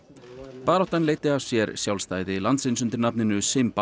baráttan leiddi af sér sjálfstæði landsins undir nafninu